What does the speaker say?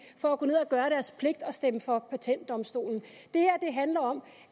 for at gå ned og gøre deres pligt og stemme for patentdomstolen det her handler om